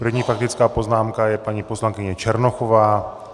První faktická poznámka je paní poslankyně Černochová.